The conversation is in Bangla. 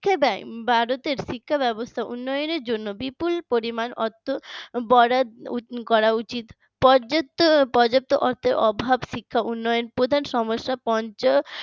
ভারতের শিক্ষা ব্যবস্থা উন্নয়নের জন্য বিপুল পরিমাণ অর্থ বরাদ্দ করা উচিত। পর্যাপ্ত পর্যাপ্ত অর্থের অভাব শিক্ষা উন্নয়নের প্রধান সমস্যা